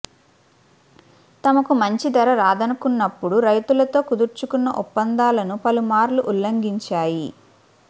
తమకు మంచి ధర రాదనుకున్నప్పుడు రైతులతో కుదుర్చుకున్న ఒప్పందాలను పలుమార్లు ఉల్లంఘించాయి